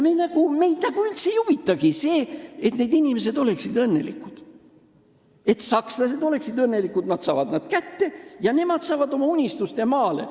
Meid nagu üldse ei huvita see, et need inimesed oleksid õnnelikud, et sakslased oleksid õnnelikud: sakslased saavad nad kätte ja nemad saavad oma unistuste maale.